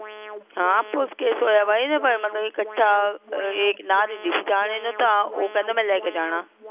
ਹਾਂ police case ਇਹਦੇ ਪਰ ਮਤਲਬ ਕੀ ਇਕਠਾ ਨਾ ਦਿੰਦੀ ਸੀ ਜਾਨ ਓਹ ਕਹੰਦਾ ਮੈਂ ਲੈ ਕੇ ਜਾਣੀ